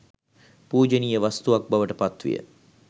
පූජනීය වස්තුවක් බවට පත් විය.